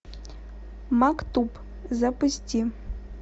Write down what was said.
мактуб запусти